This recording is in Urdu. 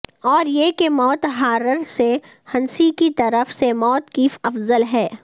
اور یہ کہ موت ہارر سے ہنسی کی طرف سے موت کی افضل ہے